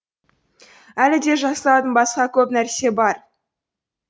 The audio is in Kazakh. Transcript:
әлі де жасалатын басқа көп нәрсе бар